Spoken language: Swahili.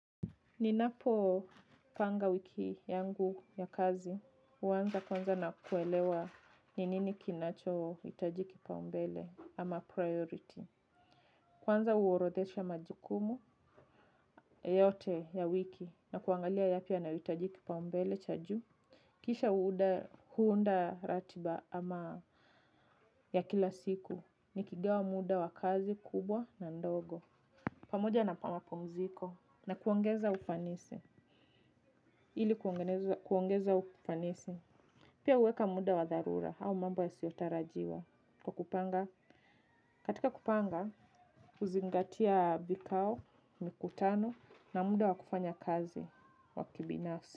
Ninapopanga wiki yangu ya kazi, huanza kwanza na kuelewa ni nini kinachohitajika mbele ama priority. Kwanza huorodhesha majukumu yote ya wiki na kuangalia yapi yanahitaji kipaumbele cha juu. Kisha huunda ratiba ama ya kila siku, nikigawa muda wa kazi kubwa na ndogo. Pamoja na mapumziko na kuongeza ufanisi ili kuongeza ufanisi pia huweka muda wa dharura au mambo yasiyotarajiwa kwa kupanga. Katika kupanga, huzingatia vikao, mikutano na muda wa kufanya kazi wa kibinafsi.